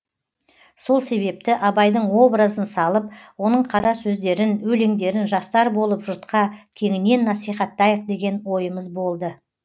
сол себепті абайдың образын салып оның қара сөздерін өлеңдерін жастар болып жұртқа кеңінен насихаттайық деген ойымыз болды